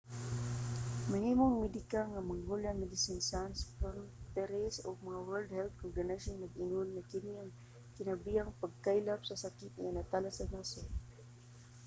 ang hinabang medikal nga mangola medecines sans frontieres ug ang world health organization nag-ingon nga kini ang kinagrabehang pagkaylap sa sakit nga natala sa nasod